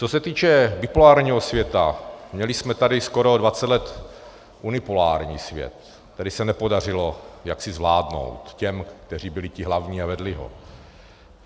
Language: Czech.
Co se týče bipolárního světa, měli jsme tady skoro 20 let unipolární svět, který se nepodařilo jaksi zvládnout těm, kteří byli ti hlavní a vedli ho.